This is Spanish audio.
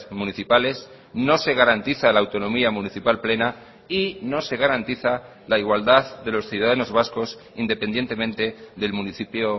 municipales no se garantiza la autonomía municipal plena y no se garantiza la igualdad de los ciudadanos vascos independientemente del municipio